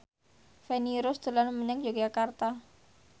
Feni Rose dolan menyang Yogyakarta